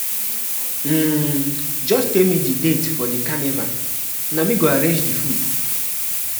um just tell me the date for di carnival, na me go arrange di food.